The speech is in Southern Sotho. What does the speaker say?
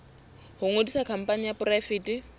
ho ngodisa khampani e poraefete